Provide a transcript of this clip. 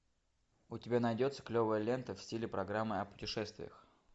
у тебя найдется клевая лента в стиле программы о путешествиях